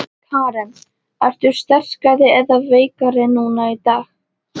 Karen: Ertu sterkari eða veikari núna í dag?